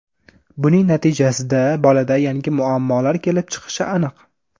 Buning natijasida bolada yangi muammolar kelib chiqishi aniq.